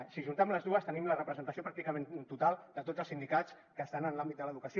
si ajuntem les dues tenim la representació pràcticament total de tots els sindicats que estan en l’àmbit de l’educació